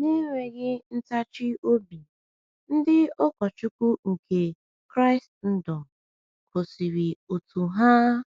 Na-enweghị ntachi obi, ndị ụkọchukwu nke Kraịstndọm gosiri otú ha um